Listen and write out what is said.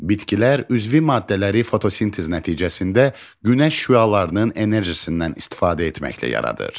Bitkilər üzvi maddələri fotosintez nəticəsində günəş şüalarının enerjisindən istifadə etməklə yaradır.